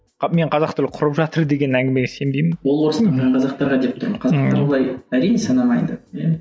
а мен қазақ тілі құрып жатыр деген әңгімеге сенбеймін ол орыс тілді қазақтарға деп тұрмын қазақтар бұлай әрине санамайды иә